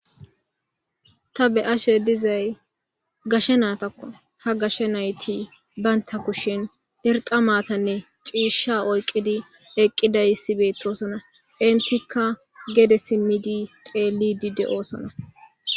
ta be7ashe dizay gashe naata ha gashe nayti baynta kushin irxa maatanne ciisha oyqidi eqqiday hissibeettosona intikka gede simidi teellidi de7oosona